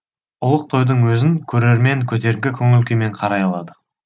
ұлық тойдың өзін көрермен көтеркі көңіл күймен қарай алады